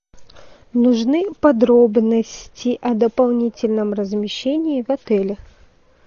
нужны подробности о дополнительном размещении в отеле